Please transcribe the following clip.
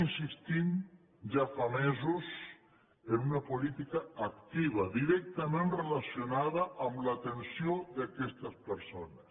insistim ja fa mesos en una política activa directament relacionada amb l’atenció d’aquestes persones